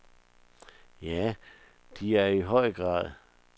Ja, det er de i høj grad.